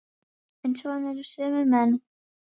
En svona eru sumir menn.